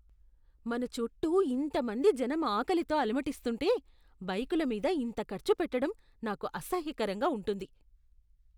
మన చుట్టూ ఇంతమంది జనం ఆకలితో అలమటిస్తుంటే, బైకుల మీద ఇంత ఖర్చుపెట్టడం నాకు అసహ్యకరంగా ఉంటుంది.